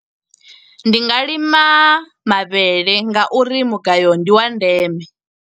Ndi nga lima mavhele nga uri mugayo ndi wa ndeme.